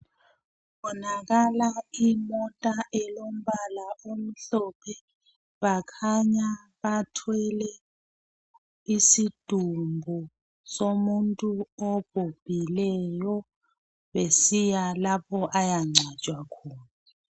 kubonakala imotaelomubala omhlophe bakhanya bathwele isidumbu somuntu obhubhileyo besiya lapha ayancwatshwa khona